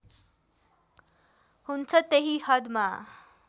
हुन्छ त्यही हदमा